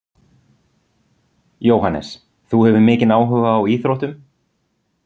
Jóhannes: Þú hefur mikinn áhuga á íþróttum?